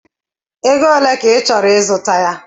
Ego ole ka ị chọrọ ịzụta ya?